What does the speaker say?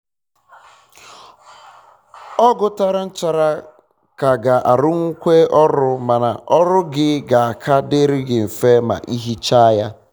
ọgụ tara nchara ka ga arụnwukwa ọrụ mana ọrụ gị ga aka dịrị gị mfe ma ị hichaa ya